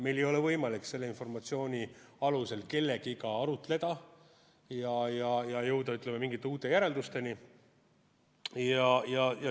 Meil ei ole võimalik selle informatsiooni alusel kellegagi arutleda ega jõuda mingite uute järeldusteni.